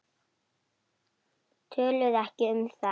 Töluðu ekki um það.